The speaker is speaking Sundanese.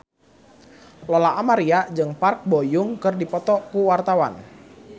Lola Amaria jeung Park Bo Yung keur dipoto ku wartawan